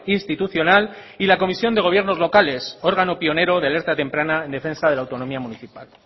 institucional y la comisión de gobiernos locales órgano pionero de alerta temprana en defensa de la autonomía municipal